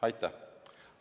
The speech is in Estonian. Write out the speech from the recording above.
Aitäh!